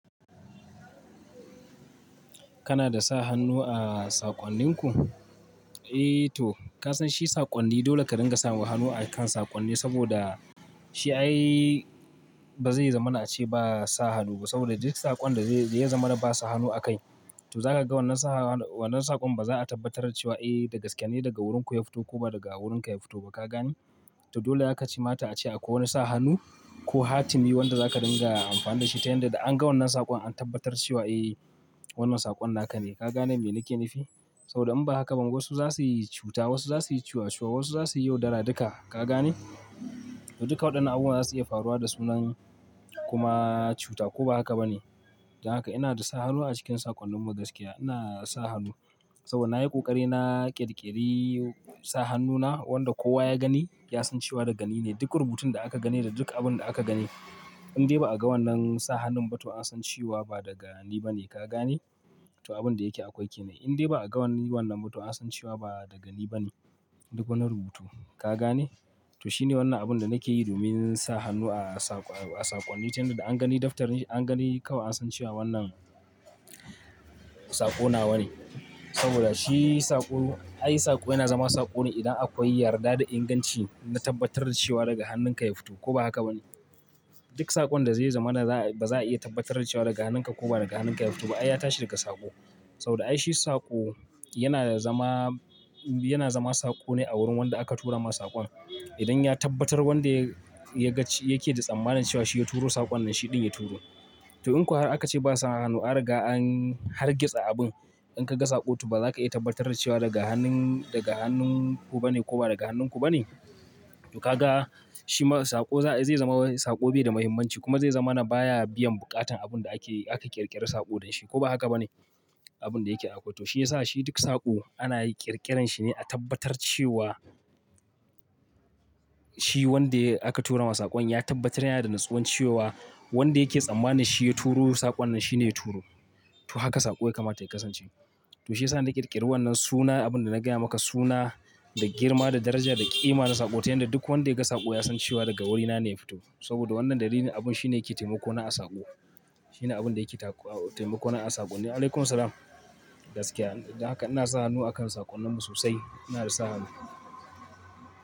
Kana da sa hannu a saƙonninku? Eh to, ka san shi saƙonni dole ka dinga sa hannu a kan saƙonni saboda shi ai bazai zama na ace ba sa hannu ba saboda duk saƙon da zai, da ya zama na ba sa hannu a kai. To za ka ga wannan sa hannu, wannan saƙon baza a tabbatar cewa eh dagaskiya ne daga wurinku ya fito ko ba daga wurinka ya fito ba, ka gane? To dole yakamata a ce akwai wani sa hannu ko hatimi wanda zaka dinga amfani da shi ta yanda da an ga wannan saƙon an tabbatar cewa eh wannan saƙon naka ne. Ka gane me nake nifi? Saboda in ba haka ba wasu za suyi cuta, wasu za suyi cuacua, wasu za suyi yaudara duka, ka gane? To duka waɗannan abubuwa za su iya faruwa da sunan kuma cuta ko ba haka ba ne. Don haka ina da sa hannu a cikin saƙonninmu gaskiya. Ina sa hannu saboda na yi ƙoƙari na ƙirƙiri sa hannuna wanda kowa ya gani ya san cewa daga ni ne duk rubutun da aka gani da duk abun da aka gani. In dai ba a ga wannan sa hannun ba to an san cewa ba daga ni ba ne, ka gane? To abun da yake akwai ke nan. In dai ba a ga wannan ba to an san cewa ba daga ni ba ne, duk wani rubutu, ka gane? To shine wannan abun da nake yi domin sa hannu a saƙo, a saƙonni tunda da an gani daftar, an gani kawai an san cewa wannan saƙo nawa ne. Saboda shi saƙo, ai saƙo yana zama saƙo ne idan akwai yarda da inganci na tabbatar da cewa daga hannunka ya fito ko ba haka ba ne. Duk saƙon da zai zama na ba za a iya tabbatar cewa daga hannunka ko ba daga hannunka ya fito ba ai ya tashi daga saƙo. Saboda ai shi saƙo yana zama, yana zama saƙo ne a wurin wanda aka tura masa saƙon. Idan ya tabbatar wanda ya gaci yake da tsammanin cewa shi ya turo saƙon nan shi ɗin ya turo. To in ko har aka ce ba sa hannu, an riga an hargitsa abun. In ka ga saƙo to baza ka iya tabbatar cewa daga hannun, daga hannun ku ba ne ko ba daga hannunku ba ne. To ka ga shi ma saƙo zai zama saƙo bai da mahimmanci kuma zai zama na baya biyan buƙatan abun da aka yi, aka ƙirƙiri saƙo dan shi ko ba haka ba ne? Abun da yake akwai. To shi yasa shi duk saƙo ana ƙirƙiren shi ne a tabbatar cewa shi wanda aka tura masa saƙon ya tabbatar yana da natsuwan cewa wanda yake tsammanin shi ya turo saƙon nan shi ne ya turo. To haka saƙo ya kamata ya kasance. To shi yasa na ƙirƙiri wannan suna abun da na gaya maka suna da girma, da daraja, da ƙima na saƙo ta yanda duk wanda ya ga saƙo ya san cewa daga wurina ne ya fito. Saboda wannan dalilin abun shine yake taimako na a saƙo. Shine abun da yake taƙu, taimako na a saƙo ne. Alaikum salam. Gaskiya don haka ina sa hannu a kan saƙonninmu sosai. Ina da sa hannu.